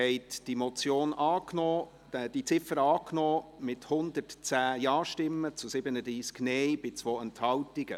Sie haben die Ziffer 1 angenommen, mit 110 Ja- zu 37 Nein-Stimmen bei 2 Enthaltungen.